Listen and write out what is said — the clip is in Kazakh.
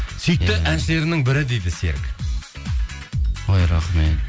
сүйікті әншілерімнің бірі дейді серік ой рахмет